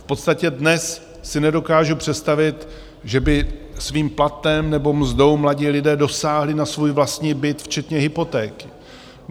V podstatě dnes si nedokážu představit, že by svým platem nebo mzdou mladí lidé dosáhli na svůj vlastní byt včetně hypotéky.